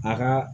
A ka